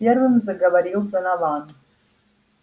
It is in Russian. первым заговорил донован